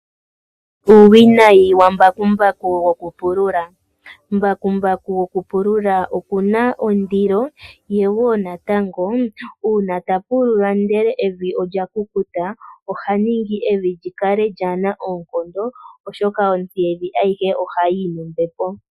Embakumbaku olina uuwinayi wokupulula. Mbakumbaku gokupulula okuna ondilo, ye wo natango uuna tapulula ndele evi olya kukuta ohali ningi evi likale kaalina oonkondo oshoka otsi yevi aihe ohayi yi nombepo.